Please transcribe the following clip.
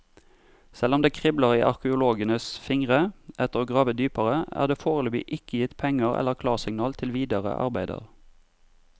Selv om det kribler i arkeologenes fingre etter å grave dypere, er det foreløpig ikke gitt penger eller klarsignal til videre arbeider.